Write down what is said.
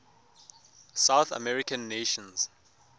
south american nations